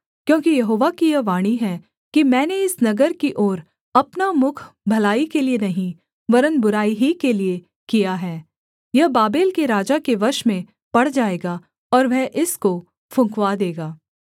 क्योंकि यहोवा की यह वाणी है कि मैंने इस नगर की ओर अपना मुख भलाई के लिये नहीं वरन् बुराई ही के लिये किया है यह बाबेल के राजा के वश में पड़ जाएगा और वह इसको फुँकवा देगा